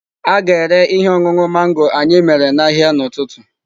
A ga-ere ihe ọṅụṅụ mango anyị mere n'ahịa n'ụtụtụ.